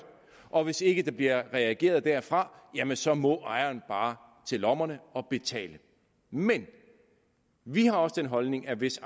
og hvis ikke der bliver reageret derfra jamen så må ejeren bare til lommerne og betale men vi har også den holdning at hvis